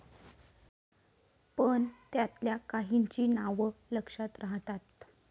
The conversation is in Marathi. पण त्यातल्या काहींची नावं लक्षात राहतात.